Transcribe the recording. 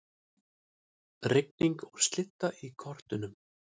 Rigning og slydda í kortunum